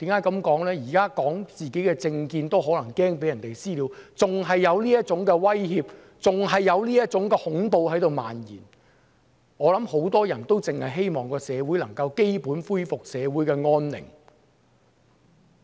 因為現時表達自己的政見也擔心可能會被"私了"，還有這種威脅和恐怖在漫延，我相信很多人只希望社會能夠恢復基本安寧。